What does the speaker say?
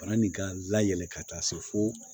Bana nin ka layɛlɛ ka taa se fo